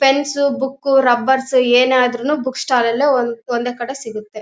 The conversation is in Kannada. ಪೆನ್ಸ್ ಬುಕ್ ರಬ್ಬರ್ ಏನದ್ರೂನು ಬುಕ್ ಸ್ಟಾಲ್ ನಲ್ಲೆ ಒಂದೇ ಕಡೆ ಸಿಗುತ್ತೆ.